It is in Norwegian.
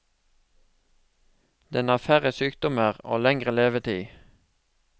Den har færre sykdommer og lengre levetid.